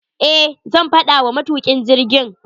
Eh, zan faɗa wa matukin jirgin.